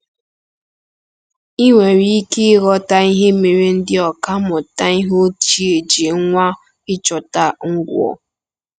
Ị nwere ike ịghọta ihe mere ndị ọkà mmụta ihe ochie ji nwaa ịchọta Ngwo.